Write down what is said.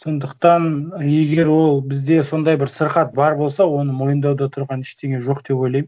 сондықтан егер ол бізде сондай бір сырқат бар болса оны мойындауда тұрған ештеңе жоқ деп ойлаймын